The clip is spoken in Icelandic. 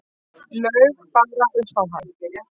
Laug bara upp á hann.